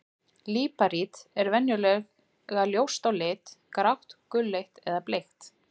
Líparít er venjulega ljóst á lit, grátt, gulleit eða bleikt.